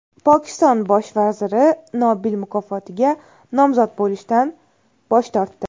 Pokiston bosh vaziri Nobel mukofotiga nomzod bo‘lishdan bosh tortdi.